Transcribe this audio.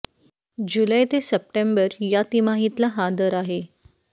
जुलै ते सप्टेंबर या तिमाहीतला हा दर आहे